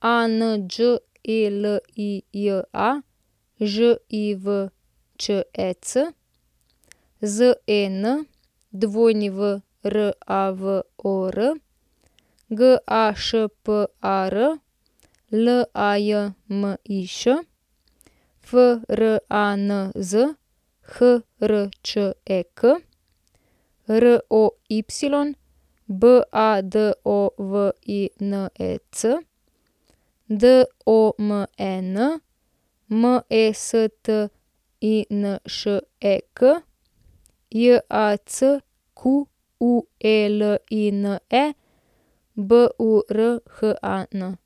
Anđelija Živčec, Zen Wravor, Gašpar Lajmiš, Franz Hrček, Roy Badovinec, Domen Mestinšek, Jacqueline Burhan.